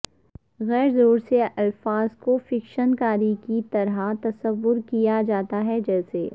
غیر زور سے الفاظ کو فکشن کاری کی طرح تصور کیا جاتا ہے جیسے